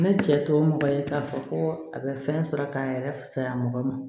Ne cɛ to mɔgɔ ye k'a fɔ ko a bɛ fɛn sɔrɔ k'a yɛrɛ fusaya mɔgɔ ma